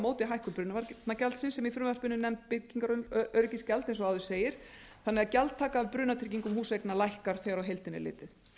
móti hækkun brunavarnagjaldsins sem í frumvarpinu er nefnt byggingaröryggisgjald eins og áður segir þannig að gjaldtaka af brunatryggingum húseigna lækkar þegar á heildina er litið